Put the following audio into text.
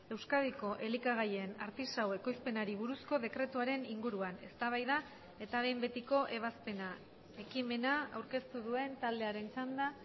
euskadiko elikagaien artisau ekoizpenari buruzko dekretuaren inguruan eztabaida eta behin betiko ebazpena ekimena aurkeztu duen taldearen txanda